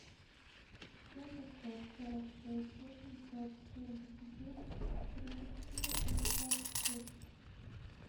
семь пятьсот сорок шесть восемьсот семьдесят девять тридцать четыре шестьдесят шесть